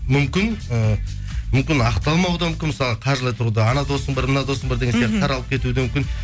мүмкін ыыы мүмкін ақталмауы да мүмкін мысалы қаржылай тұрғыда анау досың бар мынау досың бар деген сияқты таралып кетуі де мүмкін